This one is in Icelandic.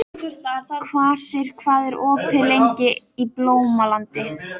Kvasir, hvað er opið lengi í Blómalandi?